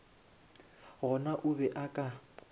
gona o be a ka